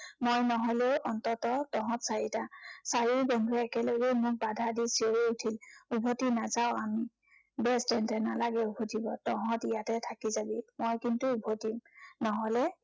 মই নহলে, অন্ততঃ তহঁত চাৰিটা। চাৰিও বন্ধু একেলগেই মোক বাধা দি চিঞৰি উঠিল। উভটি নাযাঁও আমি। বেচ তেন্তে নালাগে উভটিৱ। তহঁত ইয়াতে থাকি যাবি। মই কিন্তু উভটিম। নহলে,